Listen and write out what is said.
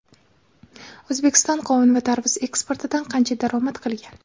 O‘zbekiston qovun va tarvuz eksportidan qancha daromad qilgan?.